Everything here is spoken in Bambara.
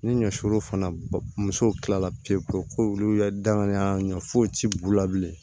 Ni ɲɔ suru fana muso kilala pewu ko olu yɛrɛ danganiya ɲuman foyi tɛ b'u la bilen